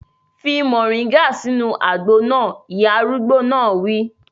Fi moringa sínú àgbo náà! Ìyá arúgbó náà wí.